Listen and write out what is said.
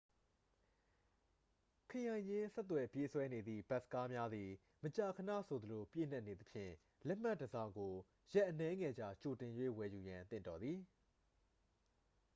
ခရိုင်ချင်းဆက်သွယ်ပြေးဆွဲနေသည့် ဘတ်စ်ကားများသည် မကြာခဏဆိုသလို ပြည့်နှက်နေသဖြင့် လက်မှတ်တစ်စောင်ကို ရက်အနည်းငယ်ကြာ ကြိုတင်၍ ဝယ်ယူရန် သင့်တော်သည်